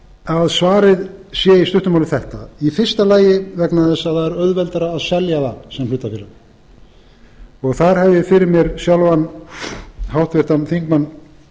að svarið sé í stuttu máli þetta í fyrsta lagi vegna þess að það er auðveldara að selja það sem hlutafélag þar hef ég fyrir mér sjálfan háttvirtur þingmaður